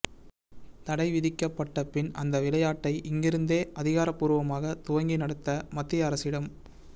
தடை விதிக்கப்பட்ட பின் அந்த விளையாட்டை இங்கிருந்தே அதிகாரப்பூர்வமாக துவங்கி நடத்த மத்திய அரசிடம்